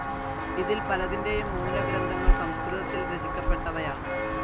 ഇതിൽ പലതിൻ്റെയും മൂലഗ്രന്ഥങ്ങൾ സംസ്കൃതത്തിൽ രചിക്കപ്പെട്ടവയാണ്.